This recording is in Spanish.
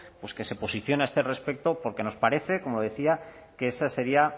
pues que se posicione a este respecto porque nos parece como decía que esa sería